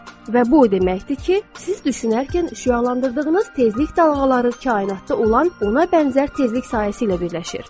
Və bu o deməkdir ki, siz düşünərkən şüalandırdığınız tezlik dalğaları kainatda olan ona bənzər tezlik sahəsi ilə birləşir.